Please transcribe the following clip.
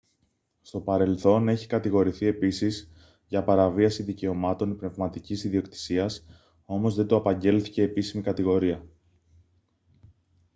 στο παρελθόν έχει κατηγορηθεί επίσης για παραβίαση δικαιωμάτων πνευματικής ιδιοκτησίας όμως δεν του απαγγέλθηκε επίσημη κατηγορία